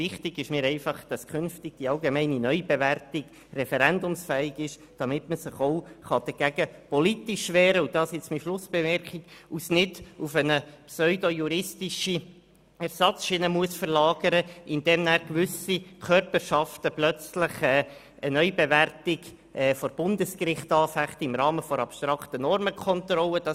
Wichtig ist mir, dass die allgemeine Neubewertung künftig referendumsfähig ist, damit man sich auch politisch dagegen wehren kann und dies nicht auf eine pseudojuristische Ersatzschiene verlagern muss, indem gewisse Körperschaften plötzlich eine Neubewertung im Rahmen einer abstrakten Normenkontrolle vor Bundesgericht anfechten.